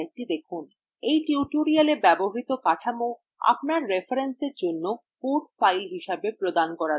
এই tutorial ব্যবহৃত কাঠামো আপনার রেফারেন্সের জন্য code files হিসাবে প্রদান করা হয়েছে